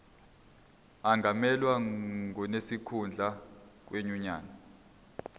angamelwa ngonesikhundla kwinyunyane